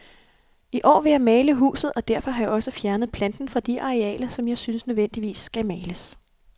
I år vil jeg male huset, og derfor har jeg også fjernet planten fra de arealer, som jeg synes nødvendigvis skal males.